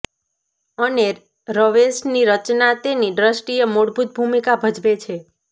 અને રવેશની રચના તેની દ્રષ્ટિએ મૂળભૂત ભૂમિકા ભજવે છે